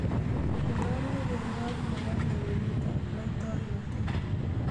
konech logoiyot nebo lewenet ab laitornatet